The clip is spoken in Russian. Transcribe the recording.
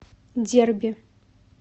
дерби